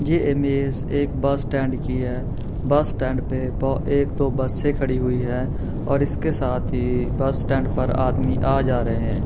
ये इमेज एक bus stand की है बस स्टैंड पे ब एक दो बसे खड़ी हुई है और इसके साथ ही बस स्टैंड पर आदमी आ जा रहे है।